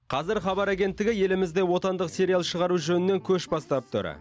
қазір хабар агенттігі елімізде отандық сериал шығару жөнінен көш бастап тұр